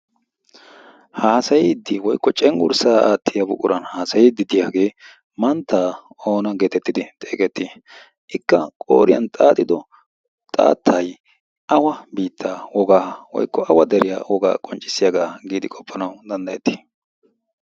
haasayiiddi woykko cengurssaa aattiya buquran haasayidi diyaagee manttaa oona geetettidi xeegettii ikka qooriyan xaaxido xaattay awa biittaa wogaa woykko awa deriyaa wogaa qonccissiyaagaa giidi qoppanawu danddayettii?